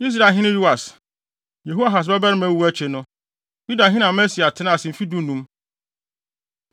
Israelhene Yoas, Yehoahas babarima wu akyi no, Yudahene Amasia tenaa ase mfe dunum.